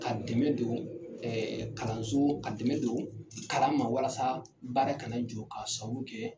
Ka dɛmɛ don kalanso , ɛɛ ka dɛmɛ don kalan ma walasa baara ka na jɔ ka sabu kɛ